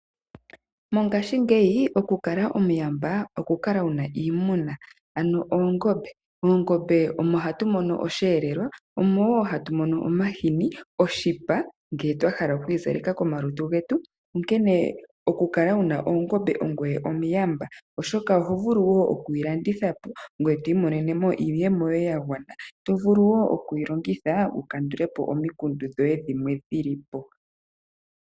Mongashingeyi okukala omuyamba okukala wu na iimuna, ano oongombe. Koongombe oko hatu mono osheelelwa, oko wo hatu mono omahini, oshipa ngele twa hala oku izaleka komalutu getu. Onkene okukala wu na ongombe ongoye omuyamba, oshoka oho vulu okuyi landitha po ngoye to imonene mo iiyemo yoye ya gwana, to vulu wo okuyi longitha wu kandule po omikundu dhoye dhimwe dhi li po.